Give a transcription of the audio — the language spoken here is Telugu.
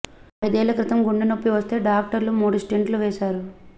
ఐదేళ్ల క్రితం గుండె నొప్పి వస్తే డాక్టర్లు మూడు స్టంట్లు వేశారు